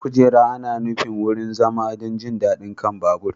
Kujera ana nufin wurin zama don jin daɗi a kan babur.